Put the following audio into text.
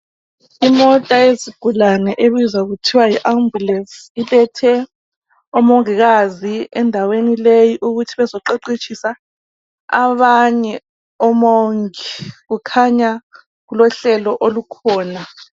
Imota yezigulane ebizwa kuthwa yi ambulesi ilethe omongikazi endaweni leyi ukuthi bazoqeqetshisa abanye omongi kukhanya kulohlelo olukhona.